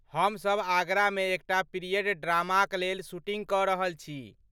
हम सब आगरामे एकटा पीरियड ड्रामाक लेल शूटिंग कऽ रहल छी।